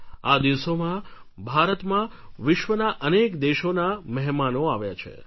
આ દિવસોમાં ભારતમાં વિશ્વના અનેક દેશોના મહેમાનો આવ્યા છે